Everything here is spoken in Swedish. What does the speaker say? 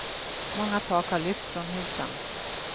Många tak har lyft från husen.